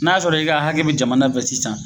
N'a y'a sɔrɔ i ka hakɛ be jamana fɛ sisan